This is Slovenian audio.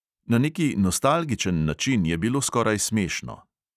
Na neki nostalgičen način je bilo skoraj smešno.